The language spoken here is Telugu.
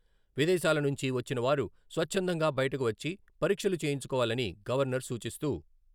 విదేశాల నుంచి వచ్చిన వారు స్వచ్ఛందంగా బయటకు వచ్చి పరీక్షలు చేయించుకోవాలని గవర్నర్ సూచిస్తూ.....